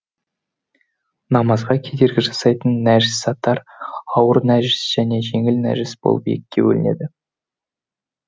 намазға кедергі жасайтын нәжісаттар ауыр нәжіс және жеңіл нәжіс болып екіге бөлінеді